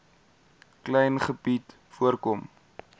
klein gebied voorkom